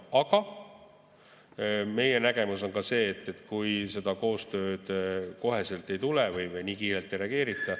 Samas meie nägemus on ka see, et kui seda koostööd kohe ei tule või nii kiirelt ei reageerita ...